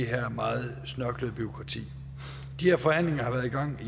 her meget snørklede bureaukrati de her forhandlinger har været i gang